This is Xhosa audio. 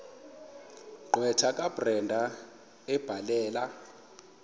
gqwetha kabrenda ebhalela